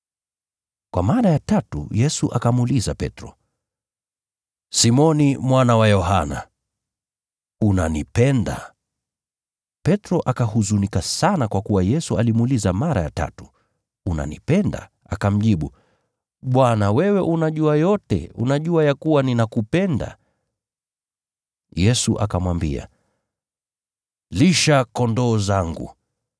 Kwa mara ya tatu Yesu akamuuliza Petro, “Simoni mwana wa Yohana, unanipenda?” Petro akahuzunika sana kwa kuwa Yesu alimuuliza mara ya tatu, “Unanipenda?” Akamjibu, “Bwana, wewe unajua yote, unajua ya kuwa ninakupenda.” Yesu akamwambia, “Lisha kondoo wangu.